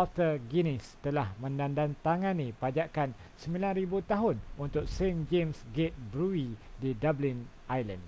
arthur guinness telah menandatangani pajakan 9,000 tahun untuk st james' gate brewey di dublin ireland